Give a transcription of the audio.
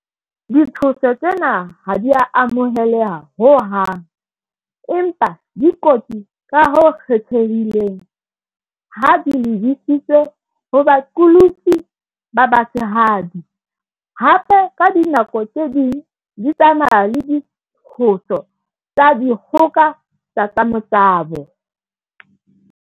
Ditshoso tsena ha di a amoheleha ho hang, empa di kotsi ka ho kgethehileng ha di lebisitswe ho baqolotsi ba ba tshehadi, hape, ka dinako tse ding di tsamaya le ditshoso tsa dikgoka tsa tsa motabo.